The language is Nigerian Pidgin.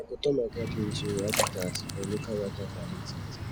i go turn my garden into a habitat for local wildlife and insects